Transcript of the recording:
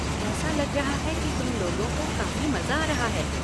ऐसा लग रहा है कि तुम लोगों को काफ़ी मज़ा आ रहा है।